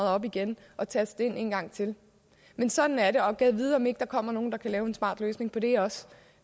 op igen og taste nummeret ind en gang til men sådan er det og gad vide om ikke der kommer nogle der kan lave en smart løsning på det også